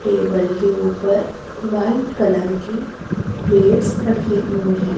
Table के ऊपर white colour कि प्लेट्स रखे हुए हैं।